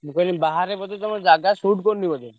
ମୁଁ କହିଲି ବାହାରେ ବୋଧେ ତମ ଜାଗା suit କରୁନି ବୋଧେ?